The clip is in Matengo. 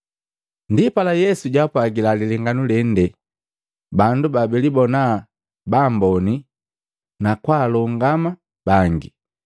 Ndipala Yesu jaapwagila lilenganu lende bandu babilibonaa baamboni na kwaalongama bangi.